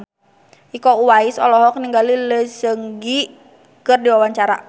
Iko Uwais olohok ningali Lee Seung Gi keur diwawancara